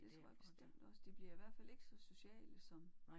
Det tror jeg bestemt også de bliver i hvert fald ikke så sociale som